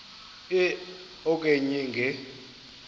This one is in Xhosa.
e okanye nge